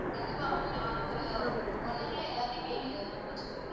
கண்டிப்பா ma'am நான் வந்து ஒரு one hour ல எல்லாத்தையுமே நான் முடிச்சுடுறேன் முடிச்சுட்டு